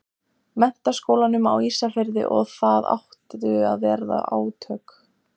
Menntaskólanum á Ísafirði og það áttu að verða átök.